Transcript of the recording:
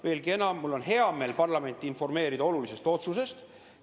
Veelgi enam, mul on hea meel parlamenti informeerida olulisest otsusest.